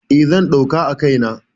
E, zan ɗauka a kai na.